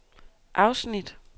afsnit